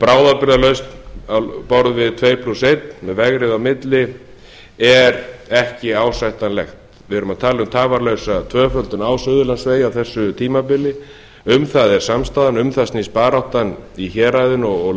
bráðabirgðalausn á borð við tuttugu og eitt með vegriði á milli er ekki ásættanlegt við erum að tala um tafarlausa tvöföldun á suðurlandsvegi á þessu tímabili um það er samstaðan um það snýst baráttan í héraðinu og